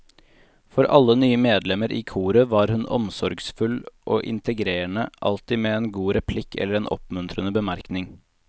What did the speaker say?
For alle nye medlemmer i koret var hun omsorgsfull og integrerende, alltid med en god replikk eller en oppmuntrende bemerkning.